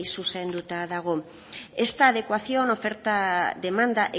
zuzenduta dago esta adecuación oferta demanda